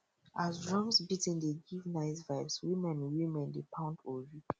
as drums beating dey give nice vibes women women dey pound ori